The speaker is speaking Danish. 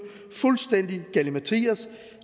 fuldstændig galimatias